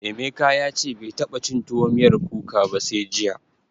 Emeka ya ce bai taɓa cin tuwo miyar kuka ba sai jiya.